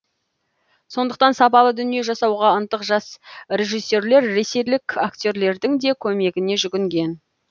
сондықтан сапалы дүние жасауға ынтық жас режиссерлер ресейлік актерлердің де көмегіне жүгінген